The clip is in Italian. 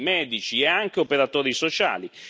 medici e anche operatori sociali.